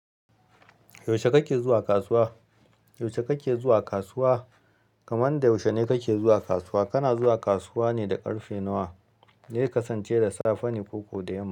Yaushe kake zuwa kasuwa? Yaushe kake zuwa kasuwa? Kamanda yaushe ne kake zuwa kasuwa? Kana zuwa kasuwa ne da ƙarfe nawa? Ze kasance da safe ne ko kuwa da yamma.